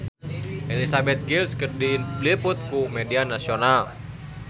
Elizabeth Gillies diliput ku media nasional